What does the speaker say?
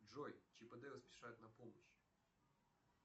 джой чип и дейл спешат на помощь